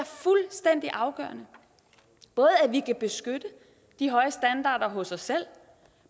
fuldstændig afgørende både at vi kan beskytte de høje standarder hos os selv